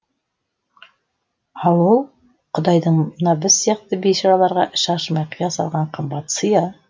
ал ол құдайдың мына біз сияқты бейшараларға іші ашымай қия салған қымбат сыйы